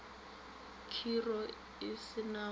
khiro e se na go